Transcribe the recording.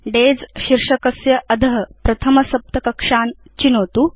days शीर्षकस्य अध प्रथम सप्त कक्षान् चिनोतु